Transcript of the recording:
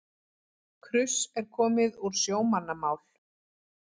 Kruss er komið úr sjómannamál.